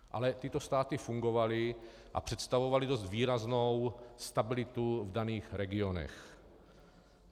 Ale tyto státy fungovaly a představovaly dost výraznou stabilitu v daných regionech.